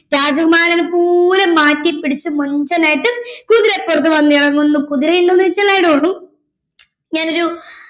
രാജകുമാരനെ പോലെ മാറ്റി പിടിച്ച് മൊഞ്ചനായിട്ട് കുതിരപ്പുറത്ത് വന്നിറങ്ങുന്ന കുതിര ഇണ്ടോന്ന് ചോയ്ച്ചാ i don't know ഞാനൊരു